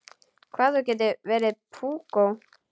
Hvað þú getur verið púkó!